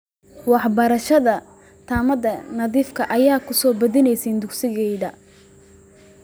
Waxbarashada tamarta nadiifka ah ayaa ku soo badanaysa dugsiyada.